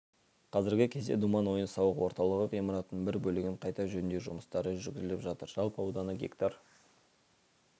қазіргі кезде думан ойын-сауық орталығы ғимаратының бір бөлігін қайта жөндеу жұмыстары жүргізіліп жатыр жалпы ауданы га